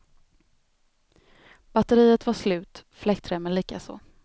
Batteriet var slut, fläktremmen likaså.